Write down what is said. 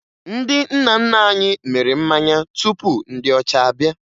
Ndị nna nna anyị mịrị mmanya tupu ndị ọcha abịa